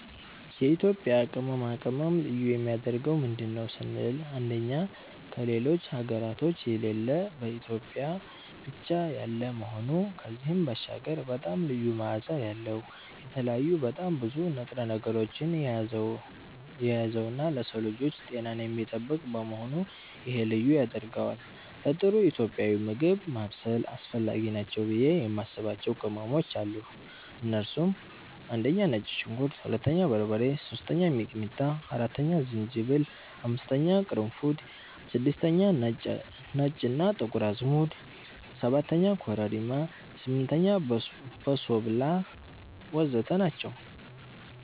የኢትዮጵያ ቅመማ ቅመም ልዩ የሚያደርገው ምንድን ነው ስንል አንደኛ ከሌሎች ሀገራቶች የሌለ በኢትዮጵያ ብቻ ያለ መሆኑ ከዚህም ባሻገር በጣም ልዩ መዓዛ ያለዉ፣ የተለያዩ በጣም ብዙ ንጥረ ነገሮችን የያዘነዉና ለሰዉ ልጆች ጤናን የሚጠብቅ በመሆኑ ይሄ ልዩ ያደርገዋል። ለጥሩ ኢትዮጵያዊ ምግብ ማብሰል አስፈላጊ ናቸው ብዬ የማስባቸዉ ቅመሞች አሉ እነሱም፦ 1)ነጭ ሽንኩርት 2)በርበሬ 3)ሚጥሚጣ 4)ዝንጅብል 5)ቅርንፉድ 6)ነጭ እና ጥቁር አዝሙድ 7)ኮረሪማ 8)በሶብላ ወዘተ ናቸዉ።